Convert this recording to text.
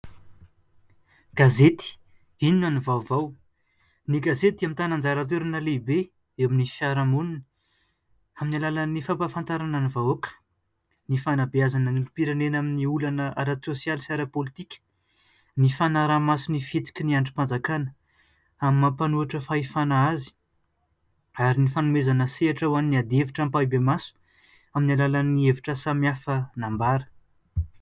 Gazety Inona no Vaovao. Ny gazety dia mitàna anjaratoerana lehibe eo amin'ny fiarahamonina amin'ny alalan'ny fampahafantarana ny vahoaka, ny fanabeazana ny olompirenena amin'ny olana ara-tsosialy sy ara-politika, ny fanarahamaso ny fihetsiky ny andrimpanjakana amin'ny maha mpanohitra fahefana azy ary ny fanomeazna sehatra ho an'ny adihevitra ampahibemaso amin'ny alàlan'ny hevitra samy hafa nambara.